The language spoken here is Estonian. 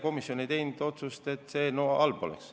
Komisjon ei teinud otsust, et see eelnõu halb oleks.